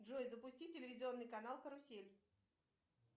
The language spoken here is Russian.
джой запусти телевизионный канал карусель